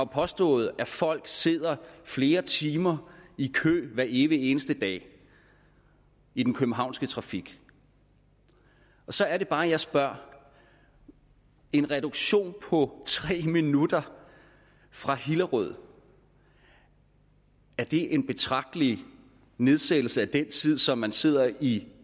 påstået at folk sidder flere timer i kø hver evige eneste dag i den københavnske trafik så er det bare jeg spørger en reduktion på tre minutter fra hillerød er det en betragtelig nedsættelse af den tid som man sidder i